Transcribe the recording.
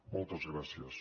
moltes gràcies